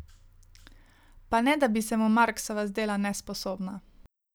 Pa ne da bi se mu Marksova zdela nesposobna.